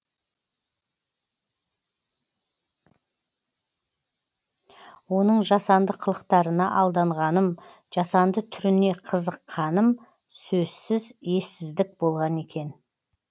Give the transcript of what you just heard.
оның жасанды қылықтарына алданғаным жасанды түріне қызыққаным сөзсіз ессіздік болған екен